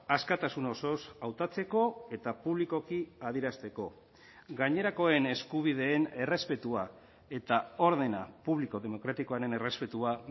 askatasun osoz hautatzeko eta publikoki adierazteko gainerakoen eskubideen errespetua eta ordena publiko demokratikoaren errespetua